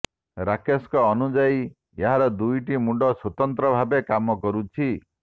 ରାକେଶଙ୍କ ଅନୁଯାୟୀ ଏହାର ଦୁଇଟି ମୁଣ୍ଡ ସ୍ବତନ୍ତ୍ର ଭାବେ କାମ କରୁଛି